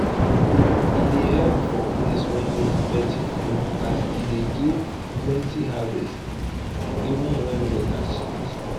e dey help for place wey need plenty food as e dey give plenty harvest even when weather change.